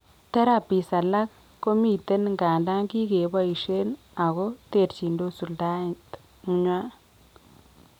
Therapies alak komiten ngandan kikeboisien ago terchindos suldaet nywan